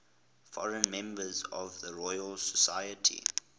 foreign members of the royal society